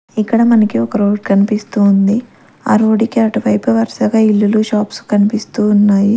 ఇక్కడ మనకి ఒక రోడ్ కన్పిస్తూ ఉంది ఆ రోడ్డు కి అటువైపు వరసగా ఇల్లులు షాప్స్ కన్పిస్తూ ఉన్నాయి.